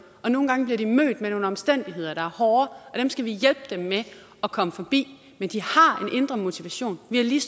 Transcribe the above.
og nogle gange bliver de mødt med nogle omstændigheder der er hårde og dem skal vi hjælpe dem med at komme forbi men de har en indre motivation vi har lige